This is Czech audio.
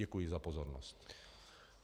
Děkuji za pozornost.